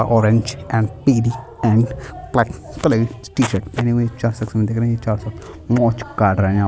Orange and peach और and purple t shirt पहने हुए है चार शख्स उन्हैं देख रहै है चार शख्स मौज काड़ रहै है।